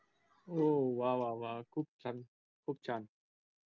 ओ वाः वाः वाः खूप छान खूप छान.